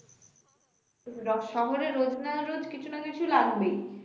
শহরে রোজ না রোজ কিছু না কিছু লাগবেই